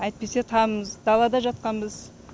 әйтпесе тамымыз далада жатқанбыз